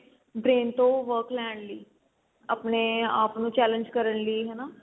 brain ਤੋਂ work ਲੈਣ ਲਈ ਆਪਣੇ ਆਪ ਨੂੰ challenge ਕਰਨ ਲਈ ਹਨਾ